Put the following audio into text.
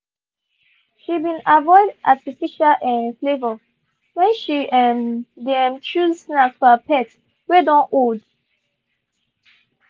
she been avoid artificial um flavour when she um dey um choose snacks for her pet wey don old.